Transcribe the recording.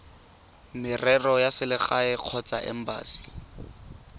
merero ya selegae kgotsa embasi